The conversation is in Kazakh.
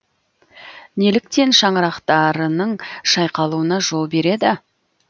неліктен шаңырақтарының шайқалуына жол береді